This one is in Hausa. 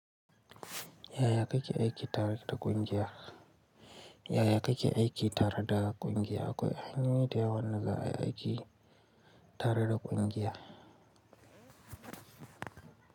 Yaya kake aiki tare da ƙungiya? Yaya kake aiki tare da ƙungiya? Akwai hanyoyi da yawa na za a yi aiki tare da ƙungiya.